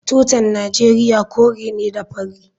Tutan Najeriya kore ne da fari.